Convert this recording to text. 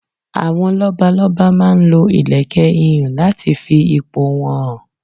Àwọn lọ́balọ́ba máa ń lo ìlèkẹ̀ ihùn láti fi ipò wọ́n hàn.